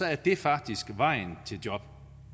er det faktisk vejen til job